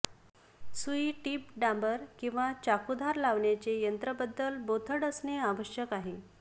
सुई टीप डांबर किंवा चाकू धार लावण्याचे यंत्र बद्दल बोथट असणे आवश्यक आहे